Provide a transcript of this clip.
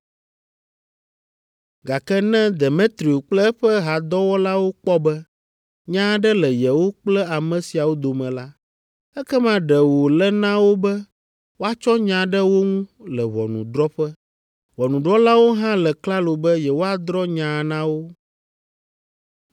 Gake ne Demetrio kple eƒe hadɔwɔlawo kpɔ be nya aɖe le yewo kple ame siawo dome la, ekema ɖe wòle na wo be woatsɔ nya ɖe wo ŋu le ʋɔnudrɔ̃ƒe. Ʋɔnudrɔ̃lawo hã le klalo be yewoadrɔ̃ nyaa na wo.